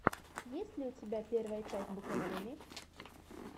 есть ли у тебя первая часть букадеми